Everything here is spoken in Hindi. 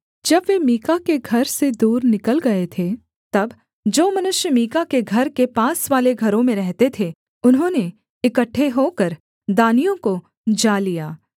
जब वे मीका के घर से दूर निकल गए थे तब जो मनुष्य मीका के घर के पासवाले घरों में रहते थे उन्होंने इकट्ठे होकर दानियों को जा लिया